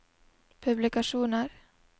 publikasjoner